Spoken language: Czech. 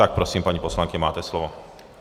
Tak prosím, paní poslankyně, máte slovo.